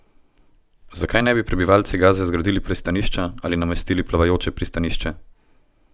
Zakaj ne bi prebivalci Gaze zgradili pristanišča ali namestili plavajoče pristanišče?